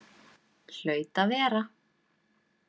Hlaut að vera.